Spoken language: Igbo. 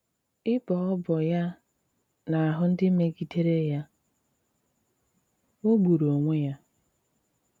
Ịbọ ọbọ ya n’ahụ́ ndị mègidèrè ya jọ̀gbùrù onwè ya.